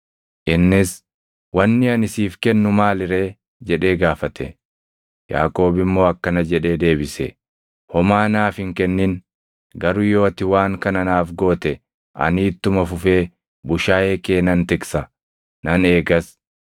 Innis, “Wanni ani siif kennu maali ree?” jedhee gaafate. Yaaqoob immoo akkana jedhee deebise; “Homaa naaf hin kennin; garuu yoo ati waan kana naaf goote ani ittuma fufee bushaayee kee nan tiksa; nan eegas;